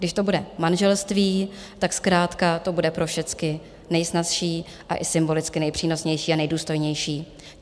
Když to bude manželství, tak zkrátka to bude pro všecky nejsnazší a i symbolicky nejpřínosnější a nejdůstojnější.